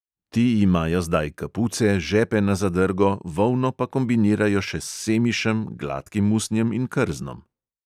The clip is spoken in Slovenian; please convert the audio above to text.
Ti imajo zdaj kapuce, žepe na zadrgo, volno pa kombinirajo še s semišem, gladkim usnjem in krznom.